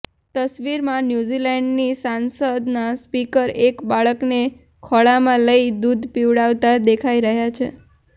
તસવીરમાં ન્યૂઝીલેન્ડની સંસદના સ્પીકર એક બાળકને ખોળામાં લઇ દૂધ પીવડાવતા દેખાઇ રહ્યા છે